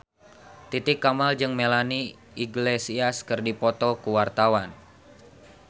Titi Kamal jeung Melanie Iglesias keur dipoto ku wartawan